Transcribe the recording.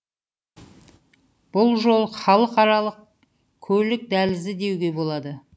бұл жол халықаралық көлік дәлізі деуге болады